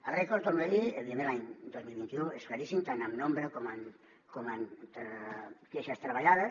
el rècord ho torno a dir evidentment de l’any dos mil vint u és claríssim tant en nombre com en queixes treballades